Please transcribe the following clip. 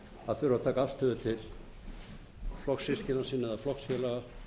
að þurfa að taka afstöðu til flokkssystkina sinna eða flokksfélaga